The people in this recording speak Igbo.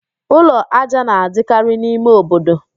Ụlọ ájá na-adịkarị n'ime obodo